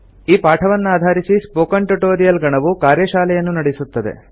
ಈ ಪಾಠವನ್ನಾಧಾರಿಸಿ spoken tutorial ಗಣವು ಕಾರ್ಯಶಾಲೆಯನ್ನು ನಡೆಸುತ್ತದೆ